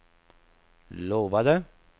lovade